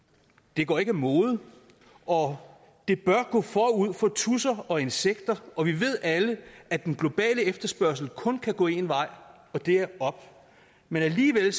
det går ikke af mode og det bør gå forud for tudser og insekter og vi ved alle at den globale efterspørgsel kun kan gå en vej og det er op men alligevel